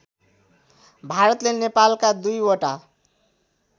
भारतले नेपालका २ वटा